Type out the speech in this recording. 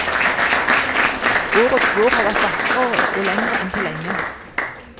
Årets vår har vært vakrere og lengre enn på lenge.